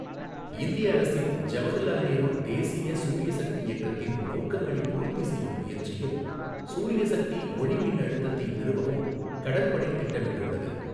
இந்திய அரசின் ஜவஹர்லால் நேரு தேசிய சூரிய சக்தி இயக்கத்தின் நோக்கங்களைப் பூர்த்தி செய்யும் முயற்சியில் சூரிய சக்தி ஒளிமின்னழுத்தத்தை நிறுவவும் கடற்படை திட்டமிட்டுள்ளது.